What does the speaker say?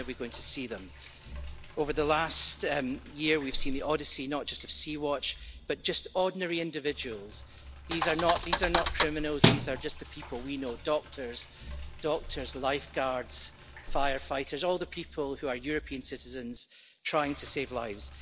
When are we going to see them? Over the last year we have seen the odyssey, not just of Sea-Watch, but just ordinary individuals, these are not criminals these are just the people we know doctors, lifeguards, firefighters all the people who are European citizens trying to save lives.